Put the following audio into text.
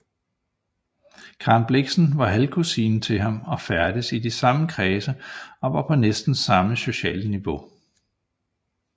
Karen Blixen var halvkusine til ham og færdedes i de samme kredse og var på næsten samme sociale niveau